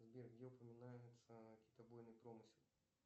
сбер где упоминается китобойный промысел